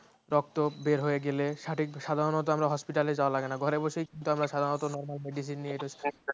রক্ত বের হয়ে গেলে সঠিক সাধারণতঃ আমরা hospital যাওয়া লাগে না ঘরে বসেই কিন্তু আমরা সাধারণতঃ normal medicine নিয়ে